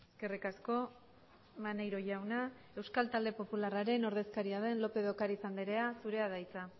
eskerrik asko maneiro jauna euskal talde popularraren ordezkaria den lopez de ocariz andrea zurea da hitza